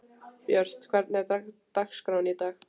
Björt, hvernig er dagskráin í dag?